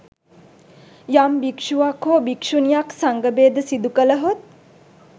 යම් භික්‍ෂුවක් හෝ භික්‍ෂුණියක් සංඝ භේද සිදුකලහොත්